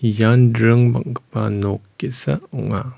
ian dring bang·gipa nok ge·sa ong·a.